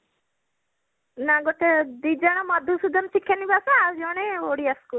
ନା ଗୋଟେ ଦିଜଣ ମଧୁସୂଦନ ଶିକ୍ଷା ନିବାସ ଆଉ ଜଣେ ଓଡିଆ school